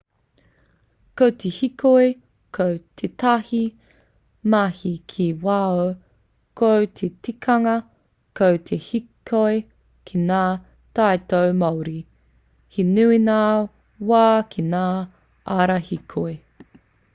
ko te hīkoi ko tētahi mahi ki waho ko te tikanga ko te hīkoi ki ngā taiao māori he nui ngā wā ki ngā ara hīkoi